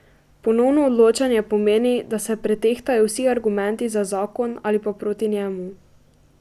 Ponovno odločanje pomeni, da se pretehtajo vsi argumenti za zakon ali pa proti njemu.